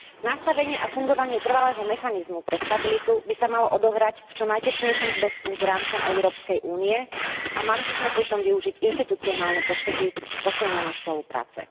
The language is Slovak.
Nastavenie a fungovanie trvalého mechanizmu pre stabilitu by sa malo odohrať v čo najtesnejšom zväzku s rámcom Európskej únie a mali by sme pri tom využiť inštitucionálne postupy posilnenej spolupráce.